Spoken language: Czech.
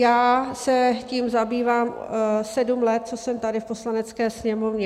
Já se tím zabývám sedm let, co jsem tady v Poslanecké sněmovně.